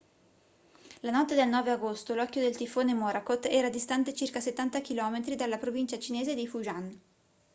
la notte del 9 agosto l'occhio del tifone morakot era distante circa settanta chilometri dalla provincia cinese di fujian